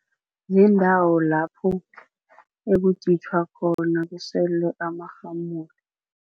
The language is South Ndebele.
Ziindawo lapho ekuditjhwa khona, kuselwe amarhamulo.